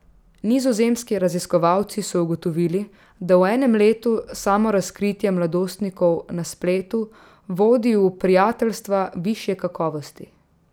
Nizozemski raziskovalci so ugotovili, da v enem letu samorazkritje mladostnikov na spletu vodi v prijateljstva višje kakovosti.